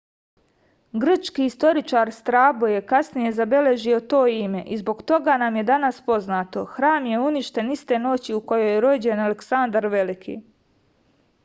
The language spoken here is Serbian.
grčki istoričar strabo je kasnije zabeležio to ime i zbog toga nam je danas poznato hram je uništen iste noći u kojoj je rođen aleksandar veliki